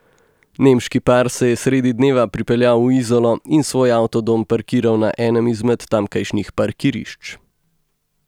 Nemški par se je sredi dneva pripeljal v Izolo in svoj avtodom parkiral na enem izmed tamkajšnjih parkirišč.